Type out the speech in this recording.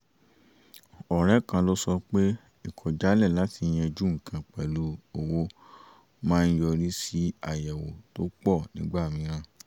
ọ̀rẹ́ kan ló sọ pé ìkọ̀jálẹ̀ láti yanjú nǹkan pẹ̀lú owó maá ń yọrí sí àyẹ̀wò tó pọ̀ nígbà mìíràn